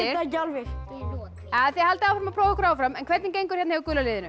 það ekki alveg þið haldið áfram að prófa ykkur áfram hvernig gengur hjá gula liðinu